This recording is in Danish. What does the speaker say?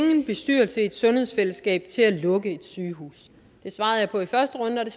en bestyrelse i et sundhedsfællesskab til at lukke et sygehus det svarede jeg på i første runde og det